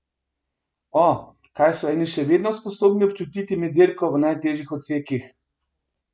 O, kaj so eni še vedno sposobni občutiti med dirko v najtežjih odsekih.